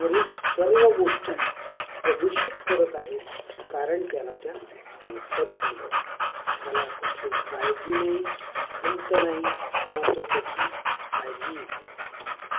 वरील सर्व गोष्टी प्रदूषित करत आहेत. कारण त्याला त्या मोफत मिळत आहेत. त्याला कुठली काळजी नाही, खंत नाही किंवा तो त्याची काळजीही घेत नाही.